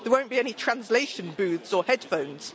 There won't be any translation booths or headphones.